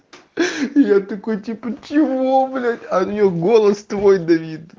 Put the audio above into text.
я такой типа чего блять а неё голос твой давид